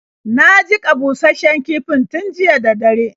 Na jiƙa bushasshen kifin tun jiya da dare.